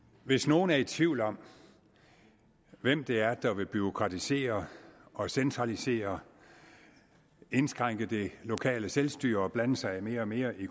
hvis nogen er i tvivl om hvem det er der vil bureaukratisere og centralisere indskrænke det lokale selvstyre og blande sig mere og mere i